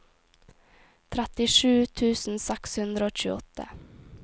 trettisju tusen seks hundre og tjueåtte